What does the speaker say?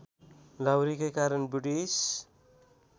लाहुरेकै कारण ब्रिटिस